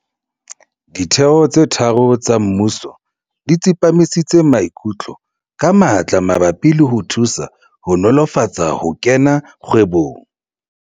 Ditheo tse tharo tsa mmuso di tsepamisitse maikutlo ka matla mabapi le ho thusa ho nolofatsa ho kena kgwebong